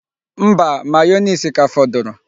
Mba, mayoneesi ka fọdụrụ.